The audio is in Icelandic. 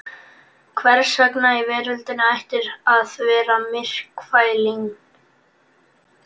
Hvers vegna í veröldinni ættirðu að vera myrkfælinn?